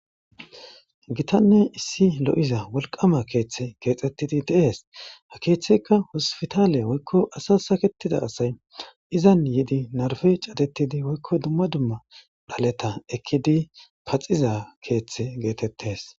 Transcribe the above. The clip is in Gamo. Gitanne issi lo7iza wolqaama keeththe keexettidi de7ees. Ha keeththeyka hospitaale woykko asa sakettida asay izan yidi narfe catettidi woykko dumma dumma dhaleta ekkidi paxiza keeththe geetettees.